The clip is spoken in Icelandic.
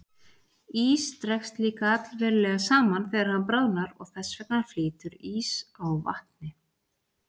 Ís dregst líka allverulega saman þegar hann bráðnar og þess vegna flýtur ís á vatni.